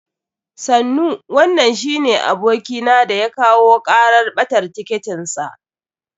Sannu, wanan shine abokina da ya kawo karar ɓatar tiketin sa.